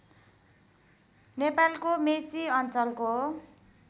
नेपालको मेची अञ्चलको